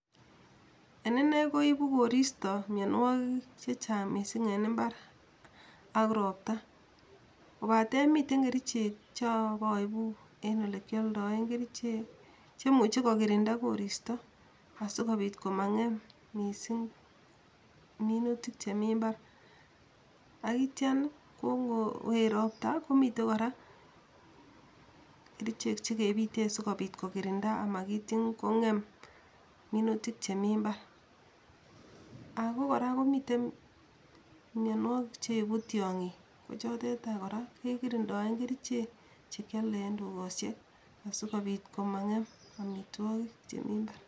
En ine koibu koristo mionwogik chechang mising en imbar ak ropta, kobaten mitei kericheek cho boibu en olekioldoe kerchek chemuche kokirinda koristo asikobiit komangem mising minutik chemi mbar, ak ityan ko ngoet ropta komitei kora kericheek che kepite sikobiit kokirinda amakitin kongem minutik che mi mbar, ako kora komitei mionwogik cheibu tiongik kochotet any kora kekirindoe kerichek chekiole en dukosiek asikobiit komangem amitwogik chemi mbar.